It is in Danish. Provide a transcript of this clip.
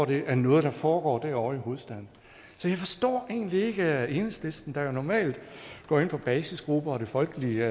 det er nu foregår derovre i hovedstaden så jeg forstår egentlig ikke at enhedslisten der jo normalt går ind for basisgrupper og det folkelige